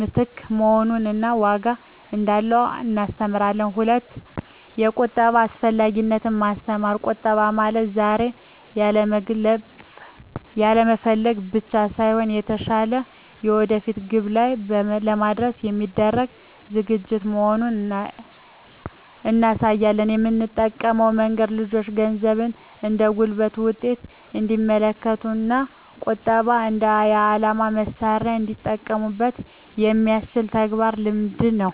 ምትክ መሆኑን እና ዋጋ እንዳለው እናስተምራለን። 2)የቁጠባ አስፈላጊነትን ማስተማር ቁጠባ ማለት ዛሬ ያለመፈለግ ብቻ ሳይሆን፣ የተሻለ የወደፊት ግብ ላይ ለመድረስ የሚደረግ ዝግጅት መሆኑን እናሳያለን። የምንጠቀመው መንገድ ልጆቹ ገንዘብን እንደ ጉልበት ውጤት እንዲመለከቱት እና ቁጠባን እንደ የዓላማ መሣሪያ እንዲጠቀሙበት የሚያስችል ተግባራዊ ልምምድ ነው።